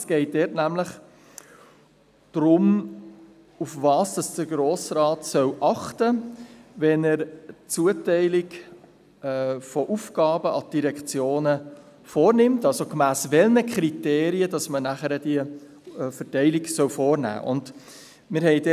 Es geht dort nämlich darum, worauf der Grosse Rat achten soll, wenn er die Zuteilung von Aufgaben an die Direktionen vornimmt, also gemäss welchen Kriterien man diese Verteilung vornehmen soll.